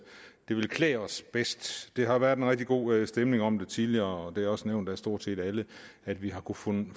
ville klæde os bedst der har været en rigtig god stemning om det tidligere og det er også nævnt af stort set alle at vi har kunnet